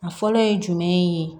A fɔlɔ ye jumɛn ye